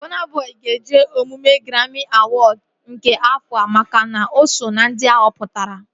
Bọna Bọi ga-eje emume graami awọd nke afọa makana o so ná ndị a họpụtara